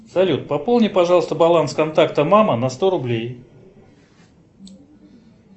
салют пополни пожалуйста баланс контакта мама на сто рублей